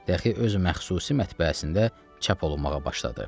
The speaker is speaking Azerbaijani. Bəxi öz məxsusi mətbəəsində çap olunmağa başladı.